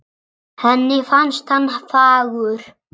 Henni fannst hann fagur